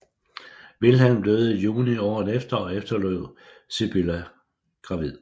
Vilhelm døde i juni året efter og efterlod Sibylla gravid